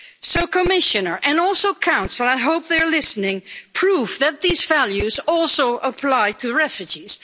So Commissioner, and also the Council I hope they're listening please prove that these values also apply to refugees.